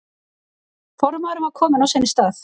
Formaðurinn var kominn á sinn stað.